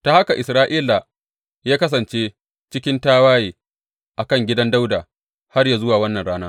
Ta haka Isra’ila ya kasance cikin tawaye a kan gidan Dawuda har yă zuwa wannan rana.